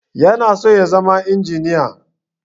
Yana so ya zama injiniya